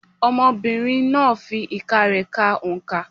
Ọmọbìnrin náà fi ìka rẹ ka oǹkà.